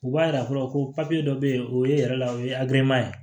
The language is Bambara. U b'a yira fɔlɔ ko papiye dɔ bɛ yen o ye e yɛrɛ la o ye ye